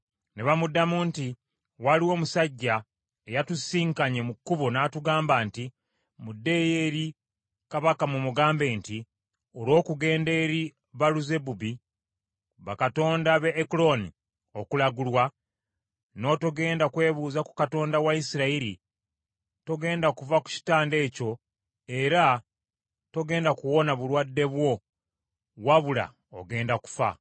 Ne bamuddamu nti, “Waliwo omusajja eyatusisinkanye mu kkubo n’atugamba nti, ‘Muddeyo eri kabaka mumugambe nti olw’okugenda eri Baaluzebubi bakatonda b’e Ekuloni okulagulwa, n’otogenda kwebuuza ku Katonda wa Isirayiri, togenda kuva ku kitanda ekyo era togenda kuwona bulwadde obwo wabula ogenda kufa.’ ”